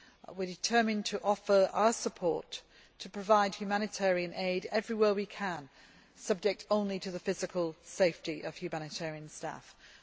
We are determined to offer our support to provide humanitarian aid everywhere we can, subject only to the physical safety of humanitarian workers.